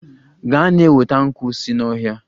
Gaa na-enweta nkwu si n'ọhịa!